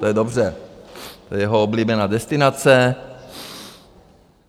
To je dobře, to je jeho oblíbená destinace.